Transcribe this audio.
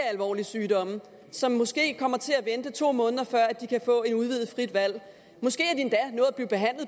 alvorlige sygdomme som måske kommer til at vente to måneder før de kan få et udvidet frit valg måske